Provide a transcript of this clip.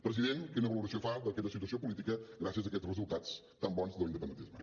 president quina valoració fa d’aquesta situació política gràcies a aquests resultats tan bons de l’independentisme